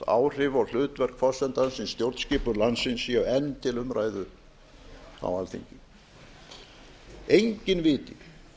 áhrif og hlutverk forsetans í stjórnskipun landsins séu enn til umræðu á alþingi enginn viti